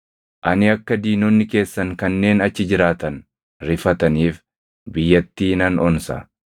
Ani akka diinonni keessan kanneen achi jiraatan rifataniif biyyattii nan onsa;